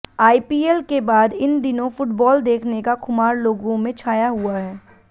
IPL के बाद इन दिनों फुटबॉल देखने का खुमार लोगों में छाया हुआ है